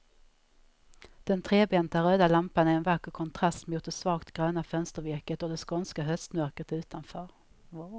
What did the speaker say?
Den trebenta röda lampan är en vacker kontrast mot det svagt gröna fönstervirket och det skånska höstmörkret utanför.